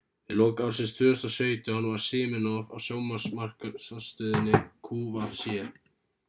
við lok ársins 2017 var siminoff á sjónvarpsmarkaðsstöðinni qvc